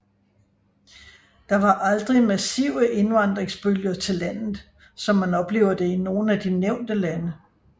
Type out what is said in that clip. Der var aldrig massive indvandringsbølger til landet som man oplever det i nogle af de nævnte lande